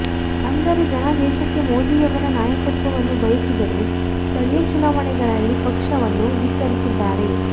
ಅಂದರೆ ಜನ ದೇಶಕ್ಕೆ ಮೋದಿಯವರ ನಾಯಕತ್ವವನ್ನು ಬಯಸಿದರೂ ಸ್ಥಳೀಯ ಚುನಾವಣೆಗಳಲ್ಲಿ ಪಕ್ಷವನ್ನು ಧಿಕ್ಕರಿಸಿದ್ದಾರೆ